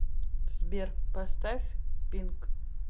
сбер поставь пинк